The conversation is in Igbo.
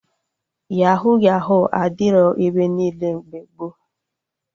Yahuu Yahuu adịrọ ebe niile mgbe gboo